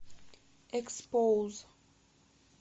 экспоуз